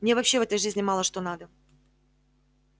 мне вообще в этой жизни мало что надо